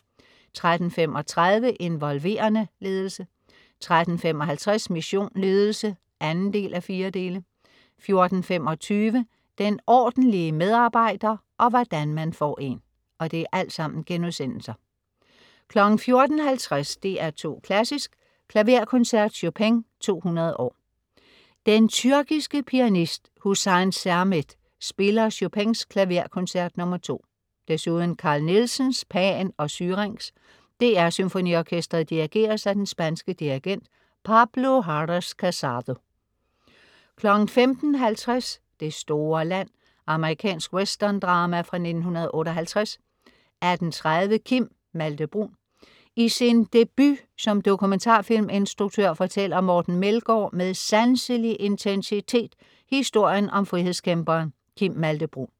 13.35 Involverende ledelse* 13.55 Mission Ledelse 2:4* 14.25 Den ordentlige medarbejder og hvordan man får en* 14.50 DR2 Klassisk: Klaverkoncert. Chopin 200 år. Den tyrkiske pianist Hüsein Sermet spiller Chopins Klaverkoncert nr. 2. Desuden: Carl Nielsens Pan & Syrinx. DR SymfoniOrkestret dirigeres af den spanske dirigent Pablo Haras-Cassado 15.50 Det store land. Amerikansk westerndrama fra 1958 18.30 Kim (Malthe-Bruun). I sin debut som dokumentarfilminstruktør fortæller Morten Meldgaard med sanselig intensitet historien om frihedskæmperen Kim Malthe-Bruun